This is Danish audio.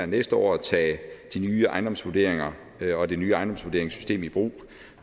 næste år at tage de nye ejendomsvurderinger og det nye ejendomsvurderingssystem i brug